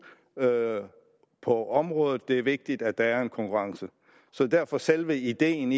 på området det er vigtigt at der er konkurrence så derfor selve ideen